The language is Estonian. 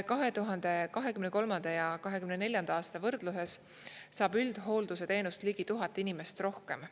2023. ja 2024. aasta võrdluses saab üldhoolduse teenust ligi 1000 inimest rohkem.